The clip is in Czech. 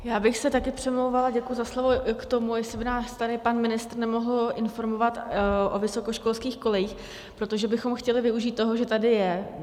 Já bych se také přimlouvala - děkuji za slovo - k tomu, jestli by nás tady pan ministr nemohl informovat o vysokoškolských kolejích, protože bychom chtěli využít toho, že tady je.